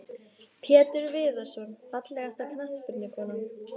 Pétur Viðarsson Fallegasta knattspyrnukonan?